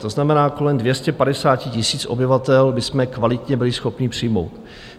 To znamená kolem 250 000 obyvatel bychom kvalitně byli schopni přijmout.